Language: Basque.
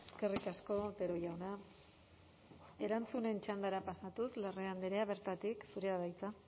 eskerrik asko otero jauna erantzunen txandara pasatuz larrea andrea bertatik zurea da hitza